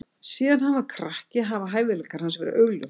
Síðan hann var krakki hafa hæfileikar hans verið augljósir.